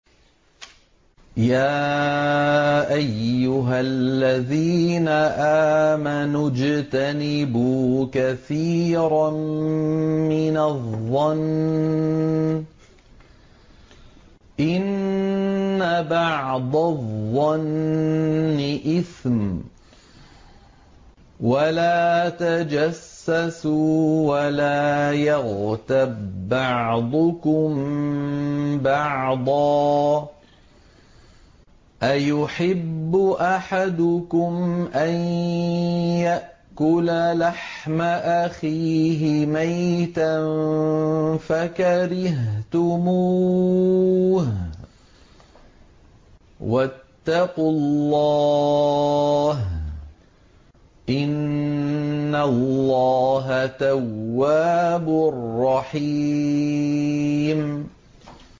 يَا أَيُّهَا الَّذِينَ آمَنُوا اجْتَنِبُوا كَثِيرًا مِّنَ الظَّنِّ إِنَّ بَعْضَ الظَّنِّ إِثْمٌ ۖ وَلَا تَجَسَّسُوا وَلَا يَغْتَب بَّعْضُكُم بَعْضًا ۚ أَيُحِبُّ أَحَدُكُمْ أَن يَأْكُلَ لَحْمَ أَخِيهِ مَيْتًا فَكَرِهْتُمُوهُ ۚ وَاتَّقُوا اللَّهَ ۚ إِنَّ اللَّهَ تَوَّابٌ رَّحِيمٌ